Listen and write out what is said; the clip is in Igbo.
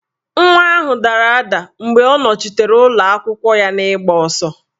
Nwa ahụ dara ada mgbe ọ nọchitere ụlọakwụkwọ ya n'igba ọsọ